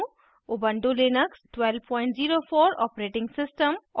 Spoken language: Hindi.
ऊबंटु लिनक्स 1204 operating system और